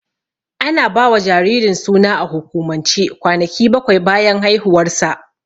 Ana ba wa jaririn suna a hukumance kwanaki bakwai bayan haihuwarsa.